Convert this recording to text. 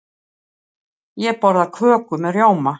Ég borða köku með rjóma.